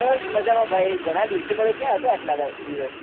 બસ મજામાં ભાઈ ઘણા દિવસે મળ્યો ક્યાં હતો આટલા દિવસ